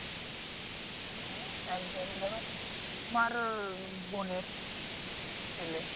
হ্যা একবারে ধরো মায়ের বোনের ছেলে